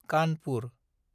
Kanpur